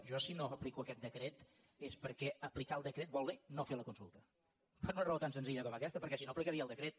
jo si no aplico aquest decret és perquè aplicar el decret vol dir no fer la consulta per una raó tan senzilla com aquesta perquè si no aplicaria el decret